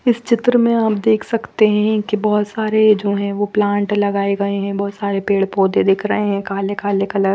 इस चित्र में आप देख सकते हैं कि बहुत सारे जो हैं प्लांट लगाए हैं बहुत सारे पेड़ पौधे दिख रहे हैं काले काले कलर --